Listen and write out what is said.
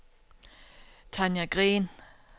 Tanja Green